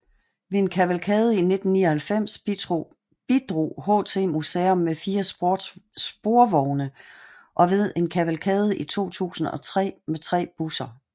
Ved en kavalkade i 1999 bidrog HT Museum med fire sporvogne og ved en kavalkade i 2003 med tre busser